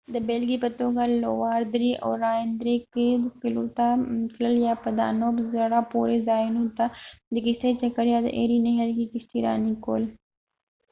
د بېلګې په توګه لووار درې او راین درې کې قلعو ته تلل یا په دانوب زړه پورې ځایونو ته د کشتۍ چکر یا د ایري نهر کې کشتي راني کول